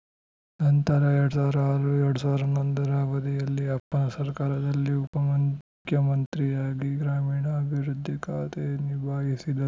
ನಂತರ ಎರಡ್ ಸಾವಿರದ ಆರು ಎರಡ್ ಸಾವಿರದ ಹನ್ನೊಂದ ರ ಅವಧಿಯಲ್ಲಿ ಅಪ್ಪನ ಸರ್ಕಾರದಲ್ಲಿ ಉಪ ಮುಖ್ಯಮಂತ್ರಿಯಾಗಿ ಗ್ರಾಮೀಣಾಭಿವೃದ್ಧಿ ಖಾತೆ ನಿಭಾಯಿಸಿದರು